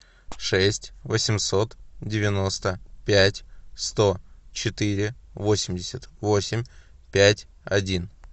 шесть восемьсот девяносто пять сто четыре восемьдесят восемь пять один